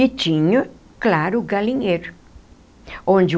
E tinha, claro, o galinheiro onde o.